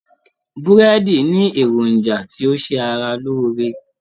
Búrẹ́dì ní èròjà tí ó ṣe ara lóore